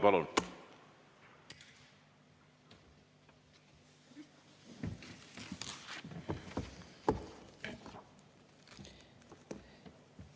Palun!